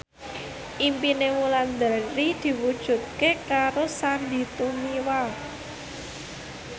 impine Wulandari diwujudke karo Sandy Tumiwa